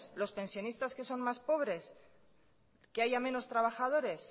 los pensionistas que son más pobres que haya menos trabajadores